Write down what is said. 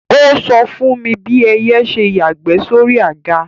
Ó sọ fún mi bí ẹyẹ ṣe yàgbẹ́ sóri àga